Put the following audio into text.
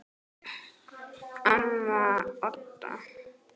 Amma Odda.